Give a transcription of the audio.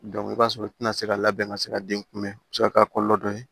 i b'a sɔrɔ u tɛna se ka labɛn ka se ka den kunbɛn o bɛ se ka kɛ a kɔlɔlɔ dɔ ye